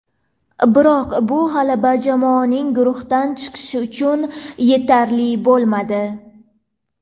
Biroq bu g‘alaba jamoaning guruhdan chiqishi uchun yetarli bo‘lmadi.